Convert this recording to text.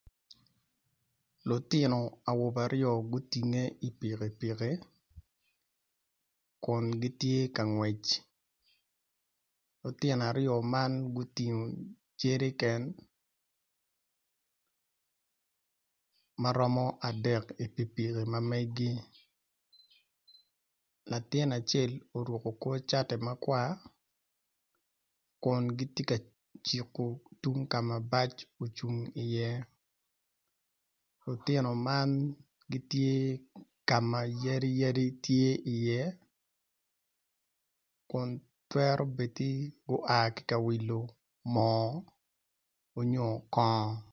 Lutino awobe aryo gutinge ipikipiki Kun gitye ka ngwec lutino aryo man gutino jeriken maromo adek ipikipiki ma megi latin acel oruko kor cati ma kwar Kun giti ka ciku tung ka ma bac ocung iye lutino man gitye ka ma yadi yadi tye iye Kun twero bedi gua ka wilo moo onyo kongo